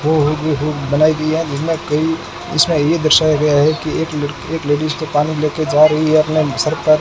वो होर्डिंग बनाई गई है जिसमें कि इसमें ये दर्शाया गया है कि एक ल एक लेडिस पानी लेके जा रही है अपने सर पर।